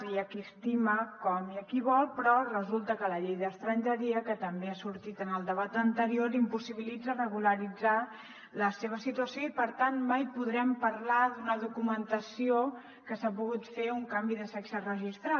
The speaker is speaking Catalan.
hi ha qui estima com i qui vol però resulta que la llei d’estrangeria que també ha sortit en el debat anterior impossibilita regularitzar la seva situació i per tant mai podrem parlar d’una documentació que s’hi ha pogut fer un canvi de sexe registral